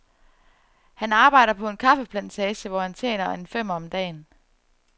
Han arbejder på en kaffeplantage, hvor han tjener en femmer om dagen.